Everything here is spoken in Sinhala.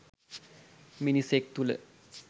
මිනිසෙක් තුළ